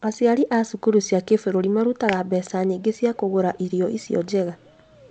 Aciari a cukuru cia kĩbũrũri marutaga mbeca nyingĩ cia kũgũra irio icio njega